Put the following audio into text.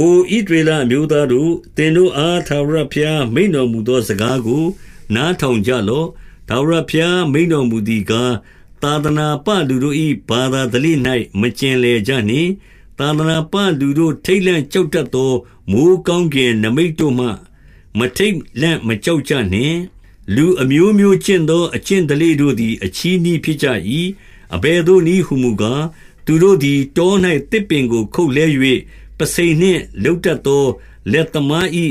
အို ဣသရေလအမျိုးသားတို့၊ သင်တို့အား ထာဝရဘုရား မိန့်တော်မူသောစကားကို နားထောင် ကြလော့။ ထာဝရဘုရား မိန့်တော်မူသည်ကား၊ သာသနာ ပလူတို့၏ ဘာသာဓလေ့၌ မကျင်လည်ကြနှင့်။ သာသနာ ပလူတို့ ထိတ်လန့်ကြောက်တတ်သော မိုဃ်းကောင်းကင် နိမိတ်တို့မှ မထိတ်လန့်မကြောက်ကြနှင့်။ လူအမျိုးမျိုးကျင့်သော အကျင့်ဓလေ့တို့သည် အချည်းနှီးဖြစ်ကြ၏။ အဘယ်သို့နည်းဟူမူကား၊ သူတို့ သည် တော၌သစ်ပင်ကို ခုတ်လှဲ၍၊ ပုဆိန်နှင့်လုပ်တတ် သော လက်သမား၏